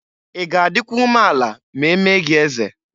I ga adịkwa umeala ma e mee gị eze?